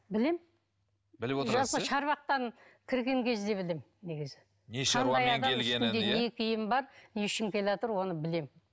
білем жалпы шарбақтан кірген кезде білемін негізі не үшін келеатыр оны білемін